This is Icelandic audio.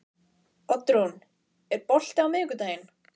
Oddrún, er bolti á miðvikudaginn?